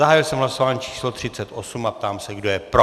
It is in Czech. Zahájil jsem hlasování číslo 38 a ptám se, kdo je pro?